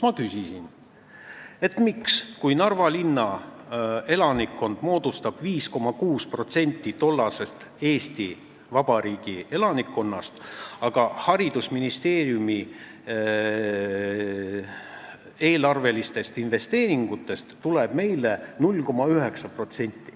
Ma küsisin nii: miks tuleb meile haridusministeeriumi eelarvelistest investeeringutest 0,9%, kui Narva linna elanikkond moodustab 5,6% Eesti Vabariigi elanikkonnast?